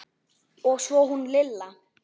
Og svo hún Lilla.